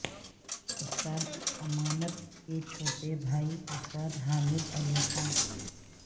استاد امانت کے چھوٹے بھائی استاد حامد علی خاں